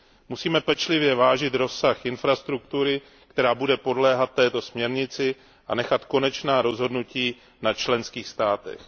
Musíme pečlivě vážit rozsah infrastruktury, která bude podléhat této směrnici, a nechat konečná rozhodnutí na členských státech.